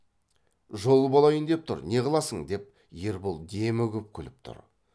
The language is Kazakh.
жол болайын деп тұр не қыласың деп ербол демігіп күліп тұрып